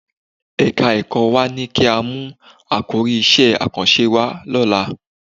Ẹ̀ka-ẹ̀kọ́ wa ní kí á mú àkòrí iṣẹ́ àkànṣe wá lọ́la